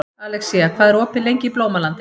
Alexía, hvað er opið lengi í Blómalandi?